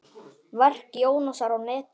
Verk Jónasar á netinu